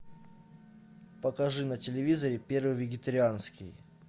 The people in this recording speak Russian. покажи на телевизоре первый вегетарианский